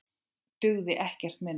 Dugði ekkert minna.